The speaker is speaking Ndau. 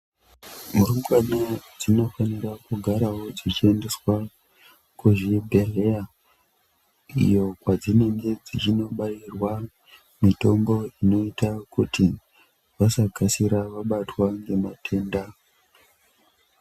Murumbwana dzinofanira kugarawo dzichiendeswa kuzvibhedhleya iyo kwadzinenge dzichinobairwa mitombo inoita kuti vasakasira vabatwa ngematenda.